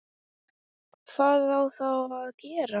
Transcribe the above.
Hvað á þá að gera?